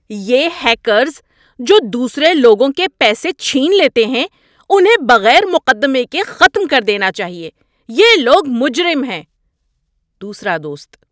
یہ ہیکرز جو دوسرے لوگوں کے پیسے چھین لیتے ہیں انہیں بغیر مقدمے کے ختم کر دینا چاہیے۔ یہ لوگ مجرم ہیں۔ (دوسرا دوست)